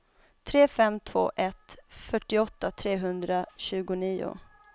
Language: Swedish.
tre fem två ett fyrtioåtta trehundratjugonio